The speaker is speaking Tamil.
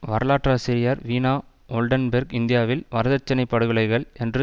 வரலாற்றாசிரியர் வீனா ஒல்டன்பேர்க் இந்தியாவில் வரதட்சினைப் படுகொலைகள் என்று